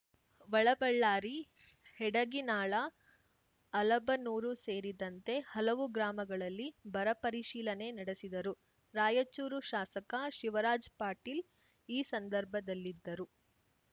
ವಳಬಳ್ಳಾರಿ ಹೆಡಗಿನಾಳ ಅಲಬನೂರು ಸೇರಿದಂತೆ ಹಲವು ಗ್ರಾಮಗಳಲ್ಲಿ ಬರ ಪರಿಶೀಲನೆ ನಡೆಸಿದರು ರಾಯಚೂರು ಶಾಸಕ ಶಿವರಾಜ್‌ ಪಾಟೀಲ್‌ ಈ ಸಂದರ್ಭದಲ್ಲಿದ್ದರು